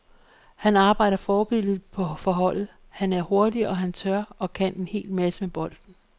Han arbejder forbilledligt for holdet, han er hurtig, og han tør og kan en hel masse med bolden.